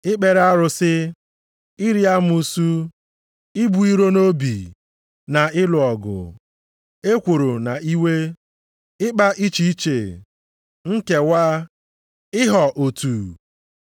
Ikpere arụsị, iri amụsụ, ibu iro nʼobi, na ịlụ ọgụ, ekworo na iwe, ịkpa iche iche, nkewa, ịhọ otu.